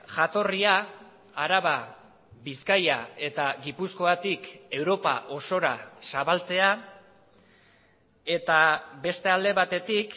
jatorria araba bizkaia eta gipuzkoatik europa osora zabaltzea eta beste alde batetik